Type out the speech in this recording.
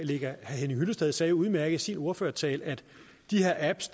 herre henning hyllested sagde udmærket i sin ordførertale at de her apps